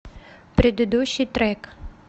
предыдущий трек